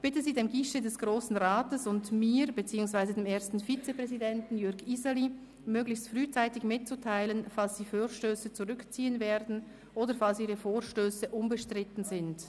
Ich bitte Sie, dem Guichet des Grossen Rats und mir, beziehungsweise dem ersten Vizepräsidenten Jürg Iseli, möglichst frühzeitig mitzuteilen, falls Sie Vorstösse zurückziehen werden oder falls Ihre Vorstösse unbestritten sind.